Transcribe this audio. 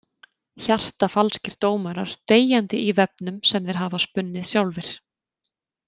Hjartafalskir dómarar deyjandi í vefnum sem þeir hafa spunnið sjálfir.